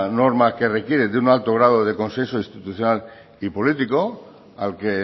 norma que requiere de un alto grado de consenso institucional y político al que